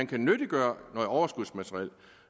kan nyttiggøre noget overskudsmateriel